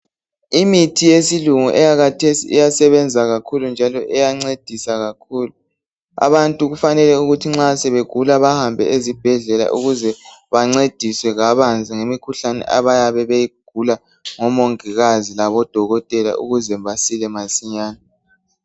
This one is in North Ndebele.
Imithi yesilungu eyakhathesi iyasebenza kakhulu njalo iyancedisa kakhulu. Abantu kufanele ukuthi nxa sebegula bahambe ezibhedlela ukuze bancediswe kabanzi ngemikhuhlane abaye beyigula ngomongikazi labodokotela ukuze basile masinyane.